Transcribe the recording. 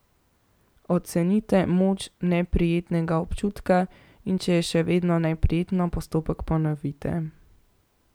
Ocenite moč neprijetnega občutka, in če je še vedno neprijetno, postopek ponovite.